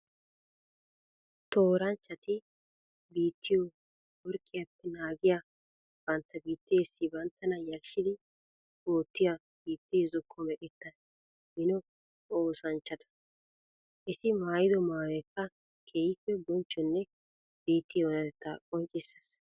Tooranchchatti biittiyo morkkiyaappe naagiyaa bantta biittessi banttana yarshshiddi ootiya biitte zokko meqetta mino oosanchchatta. Etti maayido maayoyikka keehippe bonchchonne biitte oonatetta qoncciseess.